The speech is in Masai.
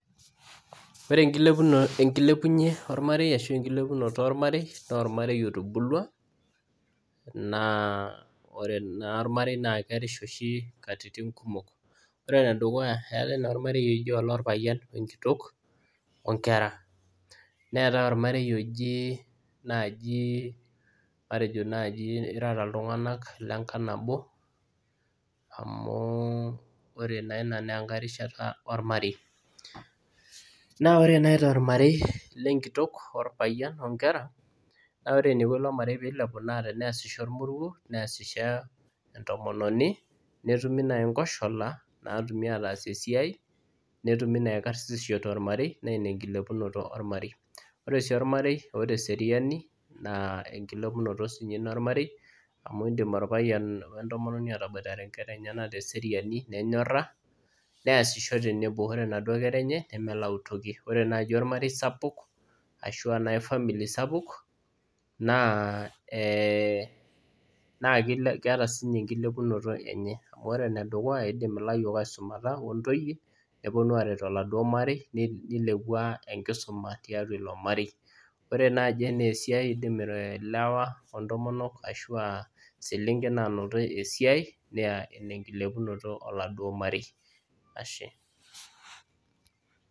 Ore tenkilepunye ormarei ashu tenkilepunoto ormarei naa ormarei otubulau na ore naa ormarei naa kerisha oshi katitin kumok, ore ene dukuya eetae naa ormarei oji olrpayian ole nkitok onkera ,neetae ormarei oji matejo naaji irara iltunganak lenkang nabo amu ore naa ina naa enkae rishata ormarei ,naa ore naaji tormarei lenkitok orpayian onkera naa ore eniko ilo marei pee ilepu naa pee eesisho orpayian neesisho entomononi ,netumi naaji nmkoshala naatumi ataasie esiai ,netumi naaji karsisisho tormarei naa ina enkilepunoto ormarei .ore sii ormarei oota eseriani naa enkilepunoto siininye ina ormarei amu indim orpayian wentomononi enye etaboitare nkera enye teseriani nenyora neesisho tenebo ,ore naduo kera nemelakua toki ore naaji ormarei sapuk ashua famili naaji sapuk naa keeta siininye enkilepunoto enye, amu ore enedukuya eidim laiyiok asumata ontoeyi ,neponu aret oladuo marei neilepu enkisuma tiatua oladuo marei .ore naaji tenaa esiai eidim ilewa ontomonok, ashua selenken naanoto esiai naa ina enkilepunoto oladuo marei.